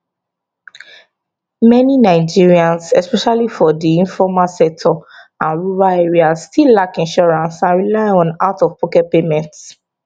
many nigerians especially for di informal sector and rural areas still lack insurance and rely on out of pocket payments